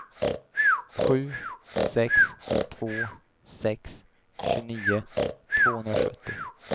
sju sex två sex tjugonio tvåhundrasjuttio